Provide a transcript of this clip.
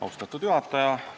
Austatud juhataja!